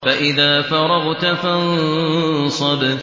فَإِذَا فَرَغْتَ فَانصَبْ